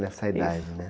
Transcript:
Isso.essa idade, né?